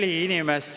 Kolm minutit lisaks.